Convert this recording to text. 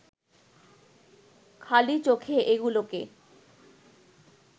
খালি চোখে এগুলোকে